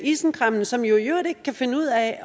isenkræmmerne som jo i øvrigt ikke kan finde ud af